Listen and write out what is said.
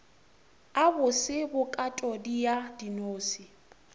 a bose bokatodi ya dinose